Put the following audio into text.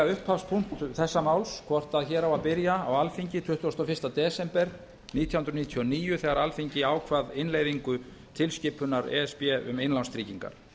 upphafspunkt þessa máls hvort hér á að byrja á alþingi tuttugasta og fyrsta desember nítján hundruð níutíu og níu þegar alþingi ákvað innleiðingu tilskipunar e s b um innlánstryggingar